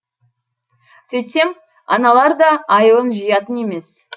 сөйтсем аналар да айылын жиятын емес